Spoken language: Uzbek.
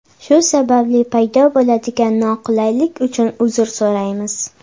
Shu sababli paydo bo‘ladigan noqulaylik uchun uzr so‘raymiz!